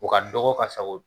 U ka dɔgɔ ka sago